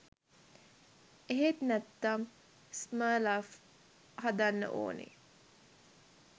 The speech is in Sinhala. එහෙම නැත්නම් ස්මර්ෆ්ලව හදන්න ඕනේ.